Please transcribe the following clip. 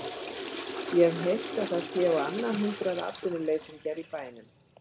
Ég hef heyrt að það séu á annað hundrað atvinnuleysingjar í bænum.